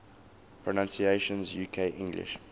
pronunciations uk english